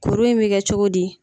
Kuru in mi kɛ cogo di ?